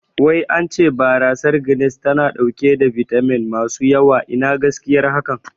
Wai ance barasar Guiness tana ɗauke da bitamin masu yawa, Ina gaskiyar haka?